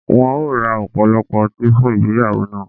Wọn ó ra ọ̀pọ̀lọpọ̀ ọti fun igbeyawo na